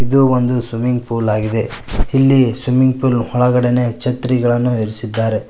ಇದು ಒಂದು swimming pool ಆಗಿದೆ ಇಲ್ಲಿ ಸ್ವಿಮ್ಮಿಂಗ್ ಪೂಲ್ ನ ಒಳಗಡೆನೆ ಛತ್ರಿಗಳನ್ನು ಇರಿಸಿದ್ದಾರೆ.